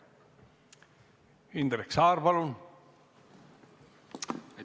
Indrek Saar, palun!